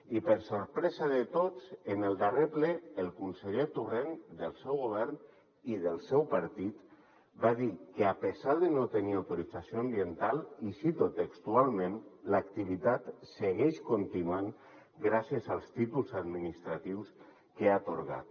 i per a sorpresa de tots en el darrer ple el conseller torrent del seu govern i del seu partit va dir que a pesar de no tenir autorització ambiental i ho cito textualment l’activitat segueix continuant gràcies als títols administratius que ha atorgat